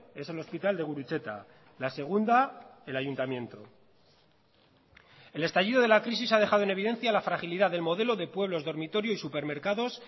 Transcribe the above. es el hospital de gurutzeta la segunda el ayuntamiento el estallido de la crisis ha dejado en evidencia la fragilidad del modelo de pueblos dormitorio y supermercados